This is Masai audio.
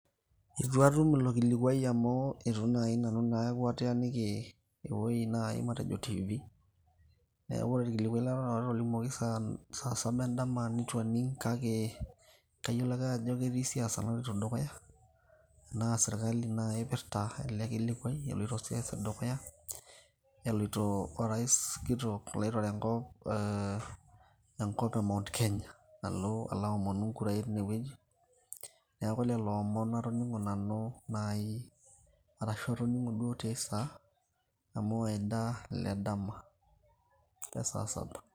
Itu atum ilo kilikwai amu itu nai nanu aku ataaniki ewei nai matejo TV. Neeku ore olkilikwai latoning'o nanu otolimuoki saa saba edama nitu aning' kake, kayiolo ake ajo ketii siasa naloito dukuya. Na sirkali nai ipirta ele kilikwai eloito siasa dukuya, eleiti orais kitok oitore enkop, eh enkop e Mount Kenya, alo aomonu inkurai tinewueji. Neeku lelo omon atoning'o nanu nai, arashu atoning'o duo tiai saa, amu enda ledama e saa saba.